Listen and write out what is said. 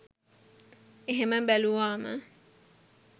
එහෙම බැලුවම